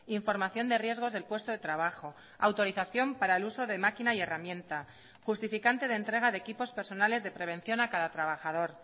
información de riesgos del puesto de trabajo autorización para el uso de máquina y herramienta justificante de entrega de equipos personales de prevención a cada trabajador